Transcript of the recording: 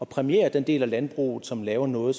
præmiere den del af landbruget som laver noget